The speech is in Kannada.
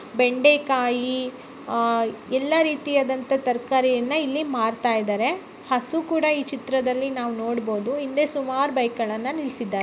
ಬೆಂಡೆಕಾಯಿ ಎಲ್ಲಾ ರೀತಿಯ ತರಕಾರಿಯನ್ನು ಇಲ್ಲಿ ಮಾರ್ತಾ ಇದ್ದಾರೆ ಹಸು ಕೂಡ ನಾವು ಈ ಚಿತ್ರದಲ್ಲಿ ನೋಡಬಹುದು ಹಿಂದೆ ಸುಮಾರು ಬೈಕುಗಳನ್ನ ನಿಲ್ಲಿಸಿದ್ದಾರೆ.